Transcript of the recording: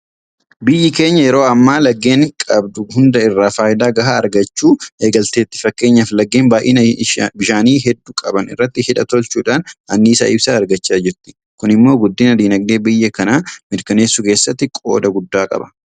Biyyi keenya yeroo ammaa laggeen qabdu hunda irraa faayidaa gahaa argachuu eegalteetti. Fakkeenyaaf laggeen baay'ina bishaanii hedduu qaban irratti hidha tolchuudhaan anniisaa ibsaa argachaa jirti. Kun immoo guddina diinagdee biyya kanaa mirkaneessuu keessatti qooda guddaa qaba.